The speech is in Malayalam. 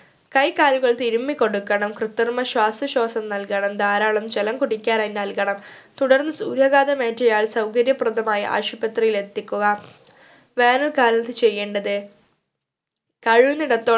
കൈകാലുകൾ തിരുമ്മിക്കൊടുക്കണം കൃത്രിമ ശ്വാസശോഷം നൽകണം ധാരാളം ജലം കുടിക്കാനായി നൽകണം തുടർന്ന് സൂര്യഘാതം ഏറ്റിയ ആൾ സൗകര്യപ്രതമായി ആശുപത്രിയിൽ എത്തിക്കുക. വേനൽകാലത്ത് ചെയ്യേണ്ടത് കഴിയുന്നിടത്തോളം